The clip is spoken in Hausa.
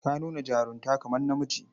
Ka nuna jarunta kamar namiji.